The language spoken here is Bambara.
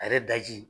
A yɛrɛ daji